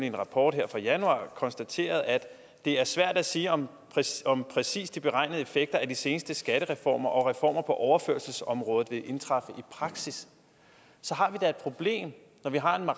en rapport fra januar hvor konstaterer at det er svært at sige om præcist om præcist de beregnede effekter af de seneste skattereformer og reformer på overførselsområdet vil indtræffe i praksis så har vi da et problem når vi har